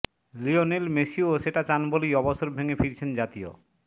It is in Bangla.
লিওনেল মেসিও সেটা চান বলেই অবসর ভেঙে ফিরেছেন জাতীয়